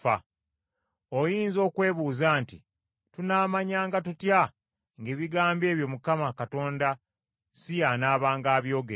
Oyinza okwebuuza nti, “Tunaamanyanga tutya ng’ebigambo ebyo Mukama Katonda si y’anaabanga abyogedde?”